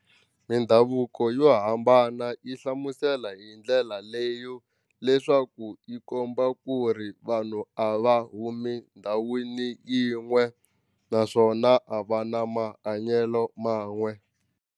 Mindhavuko yo hambana yi hlamusela hi ndlela leyo leswaku yi komba ku ri vanhu a va humi ndhawini yin'we naswona a va na mahanyelo man'we.